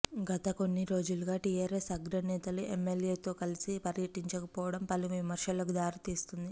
గత కొన్ని రోజులుగా టిఆర్ఎస్ అగ్రనేతలు ఎంఎల్ఎతో కలిసి పర్యటించకపోవడం పలు విమర్శలకు దారి తీస్తుంది